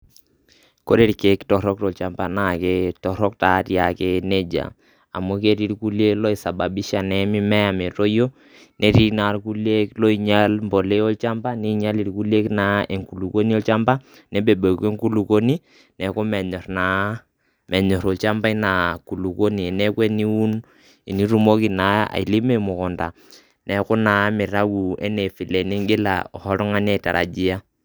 Kore irkeek torok tolchamba naake torok naake neija amu keti irkuliek oisababisha naa mimea metoyio, netii naa irkulie loinyal mbolea olchamba, ninyal irkulie naa enkulukoni olchamba, nebebeku enkulukoni neeku menyor naa olchamba ina kulukoni neeku eniun, enitumoki naa ailimo emukunda neeku mitau naa vile ning'ila oshi oltung'ani aitarajia.